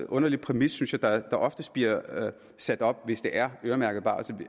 underlig præmis synes jeg der oftest bliver sat op hvis det er øremærket barsel